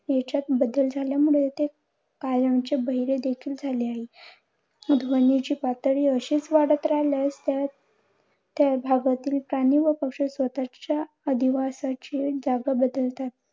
याच्यात बदल झाल्यामुळे ते कायमचे बहिरे देखील झाले आहेत. ध्वनीची पातळी अशीच वाढत राहिल्यास त्यात त्या भागातील प्राणी व पक्षी स्वतःच्या अधिवासाची जागा बदलतात.